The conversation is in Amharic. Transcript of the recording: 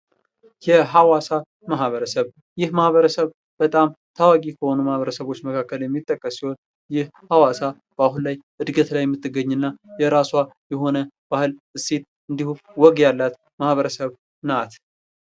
የሐዋሳ ማህበረሰብ ።ይህ ማህበረሰብ በጣም ታዋቂ ከሆኑ ማህበረሰቦች መካከል የሚጠቀስ ሲሆን ይህ ሃዋሳ አሁን ላይ እድገት ላይ የምትገኝ እና የራሷ የሆነ ባህል፣ እሴት እንዲሁም ወግ ያላት ማህበረሰብ ናት።